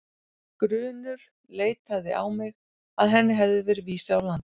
Grunur leitaði á mig að henni hefði verið vísað úr landi.